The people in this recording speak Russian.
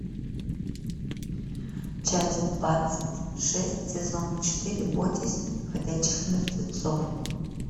часть двадцать шесть сезона четыре бойтесь ходячих мертвецов